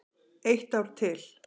Eitt ár til.